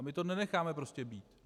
A my to nenecháme prostě být.